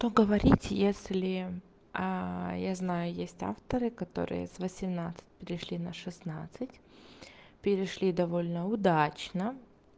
то говорить если я знаю есть авторы которые с восемнадцать пришли на шестнадцать перешли довольно удачно